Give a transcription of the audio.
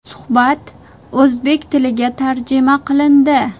Suhbat o‘zbek tiliga tarjima qilindi.